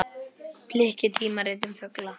Bliki: tímarit um fugla.